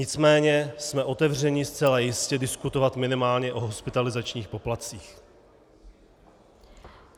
Nicméně jsme otevřeni zcela jistě diskutovat minimálně o hospitalizačních poplatcích.